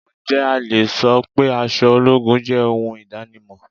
Ǹjẹ́ a le so pé aṣọ ológun jẹ́ ohun idanimọn?